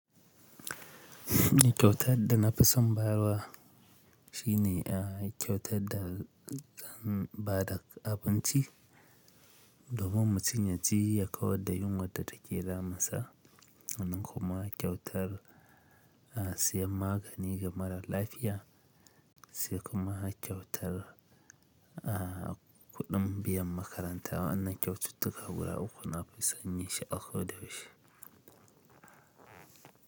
Kyautar da na fi son bayarwa shine kyautar da ba da abinci domin mutum ya ci ya kawar da yunwar da take damunsa, wannan kuma kyautar siyan magani ga mara lafiya, sai kuma kyautar kuɗin biyan makaranta. Wannan kyaututtuka guda uku na fi sanyi shi a ko da yaushe.